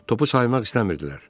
Topu saymaq istəmirdilər.